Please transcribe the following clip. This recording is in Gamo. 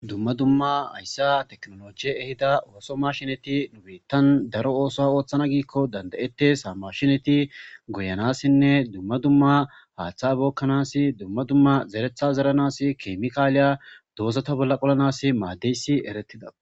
Dumma dumma hayssa teknoloji ehida ooso mashineti nubittan daro ooso ooththana giikko danda7ette saa mashineti goyanassinne dumma dumma haaththa bookkanasi dumma dumma zeretha zeranas kemikaaliya doozata bolla qolanas maadeysi erettida.